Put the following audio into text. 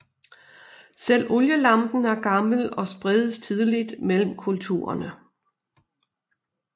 Selv olielampen er gammel og spredes tidligt mellem kulturerne